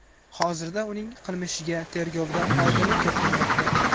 Hozirda uning qilmishiga tergovda oydinlik kiritilmoqda.